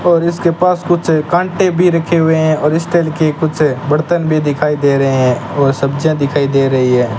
और इसके पास कुछ कांटे भी रखे हुए हैं और इस तरह के कुछ बर्तन भी दिखाई दे रहे हैं और सब्जियां दिखाई दे रही है।